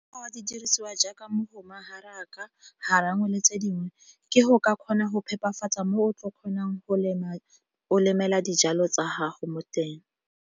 Di dirisiwa jaaka mogoma, haraka, garawe le tse dingwe ke go ka kgona go phepafatsa mo o tlo kgonang go lema, o lemela dijalo tsa gago mo teng.